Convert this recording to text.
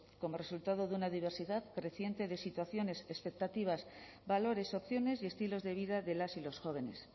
como resultado de una diversidad creciente de situaciones expectativas valores opciones y estilos de vida de las y los jóvenes